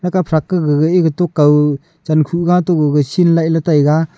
aga fraka gaga ega tokaw chenkhuh gato shin lah e taiga.